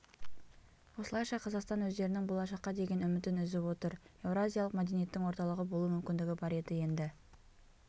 осылайша қазақстан өздерінің болашаққа деген үмітін үзіп отыр еуразиялық мәдениеттің орталығы болу мүмкіндігі бар еді енді